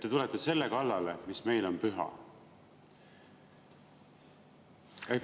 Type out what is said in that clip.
Te tulete selle kallale, mis meile on püha.